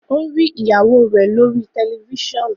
o ri ìyàwó rẹ lori Tẹlifísàn.